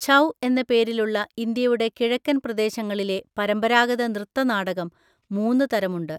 ഛൗ എന്ന പേരിലുള്ള ഇന്ത്യയുടെ കിഴക്കൻ പ്രദേശങ്ങളിലെ പരമ്പരാഗത നൃത്ത നാടകം മൂന്ന് തരമുണ്ട്.